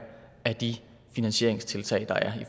af de finansieringstiltag der er